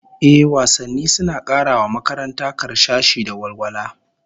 Ehh, wasanni suna kara wa makaranta karsashi da walwala